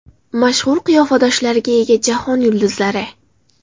Mashhur qiyofadoshlariga ega jahon yulduzlari .